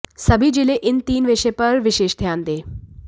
सभी जिले इन तीन विषय पर विशेष ध्यान दें